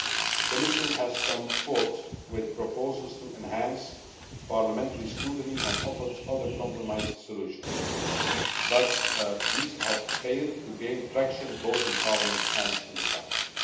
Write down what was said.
The Commission has come forward with proposals to enhance parliamentary scrutiny and offers other compromise solutions, but these have failed to gain traction both in Parliament and in the Council.